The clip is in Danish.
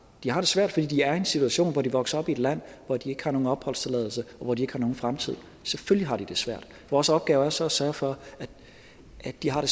de har det svært fordi de er i en situation hvor de vokser op i et land hvor de ikke har nogen opholdstilladelse og hvor de ikke har nogen fremtid selvfølgelig har de det svært vores opgave er så at sørge for at de har det